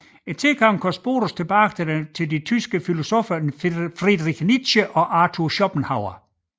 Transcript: Tilgangen kan spores tilbage til de tyske filosoffer Friedrich Nietzsche og Arthur Schopenhauer